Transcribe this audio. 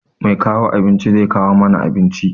Mai kawo abinci zai kawo mana abincin.